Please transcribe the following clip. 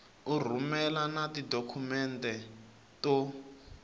u rhumela na tidokhumente to